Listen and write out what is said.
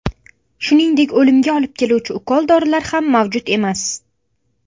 Shuningdek, o‘limga olib keluvchi ukol dorilar ham mavjud emas.